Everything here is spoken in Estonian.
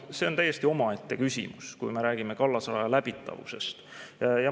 See on täiesti omaette küsimus, kui me räägime kallasraja läbitavusest.